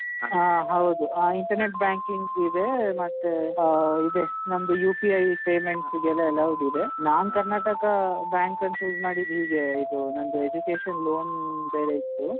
ಆ ಹೌದು ಆ internet banking ಇದೇ ಮತ್ತೇ ಆ ಇದೆ ನಮ್ದು UPI payments ಗೆಲ್ಲ allowed ಇದೆ ನಾನ್ ಕರ್ನಾಟಕ bank ಅನ್ choose ಮಾಡಿದ್ದ್ ಹೀಗೆ ಇದು ನಂದು education loan ಬೇರೆ ಇತ್ತು.